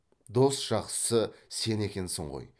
дос жақсысы сен екенсің ғой